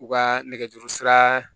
U ka nɛgɛjuru sira